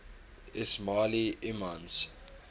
ismaili imams